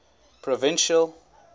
provincial